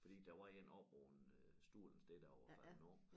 Fordi der var én oppe på en øh stol et sted der var faldet om